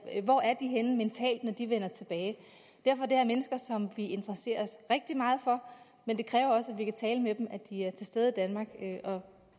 hvor er de henne mentalt når de vender tilbage derfor er det her mennesker som vi interesserer os rigtig meget for men det kræver også at vi kan tale med dem at de er til stede i danmark og